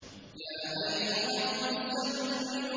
يَا أَيُّهَا الْمُزَّمِّلُ